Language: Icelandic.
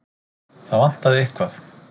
Það vantaði eitthvað.